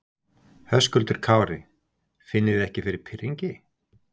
Höskuldur Kári: Finnið þið ekki fyrir pirringi?